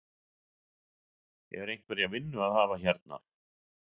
Er einhverja vinnu að hafa hérna?